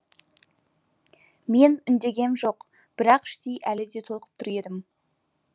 мен үндегем жоқ бірақ іштей әлі де толқып тұр едім